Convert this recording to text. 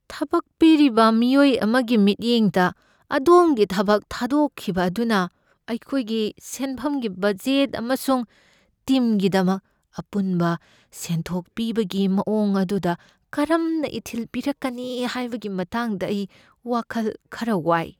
ꯊꯕꯛ ꯄꯤꯔꯤꯕ ꯃꯤꯑꯣꯏ ꯑꯃꯒꯤ ꯃꯤꯠꯌꯦꯡꯗ, ꯑꯗꯣꯝꯒꯤ ꯊꯕꯛ ꯊꯥꯗꯣꯛꯈꯤꯕ ꯑꯗꯨꯅ ꯑꯩꯈꯣꯏꯒꯤ ꯁꯦꯟꯐꯝꯒꯤ ꯕꯖꯦꯠ ꯑꯃꯁꯨꯡ ꯇꯤꯝꯒꯤꯗꯃꯛ ꯑꯄꯨꯟꯕ ꯁꯦꯟꯊꯣꯛ ꯄꯤꯕꯒꯤ ꯃꯑꯣꯡ ꯑꯗꯨꯗ ꯀꯔꯝꯅ ꯏꯊꯤꯜ ꯄꯤꯔꯛꯀꯅꯤ ꯍꯥꯏꯕꯒꯤ ꯃꯇꯥꯡꯗ ꯑꯩ ꯋꯥꯈꯜ ꯈꯔ ꯋꯥꯏ ꯫